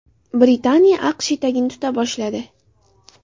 Britaniya AQSh etagini tuta boshladi.